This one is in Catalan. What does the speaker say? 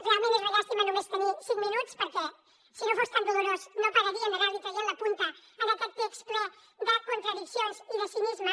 realment és una llàstima només tenir cinc minuts perquè si no fos tan dolorós no pararíem d’anar·li traient la punta a aquest text ple de contradiccions i de cinisme